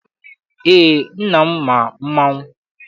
Eé, nna m ma mmanwụ.